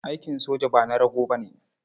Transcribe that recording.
Aikin soja ba na rago ba ne.